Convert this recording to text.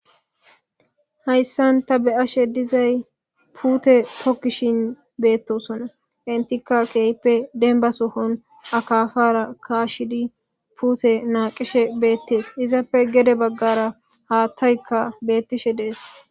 Hayissan taa be'ashshe dizayi pute tokishshin betosona . ettikka kehippe dennibba soon akafara Kashshid pute naqishe betees.izappe gede bagara hatayikka betishshe de'ees.